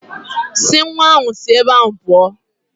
Si nwa ahụ si ebe ahụ pụọ.